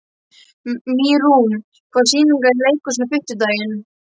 Mýrún, hvaða sýningar eru í leikhúsinu á fimmtudaginn?